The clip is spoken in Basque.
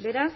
beraz